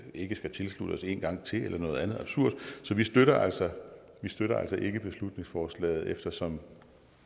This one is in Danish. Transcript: ikke skal tilslutte os en gang til eller noget andet absurd så vi støtter altså støtter altså ikke beslutningsforslaget eftersom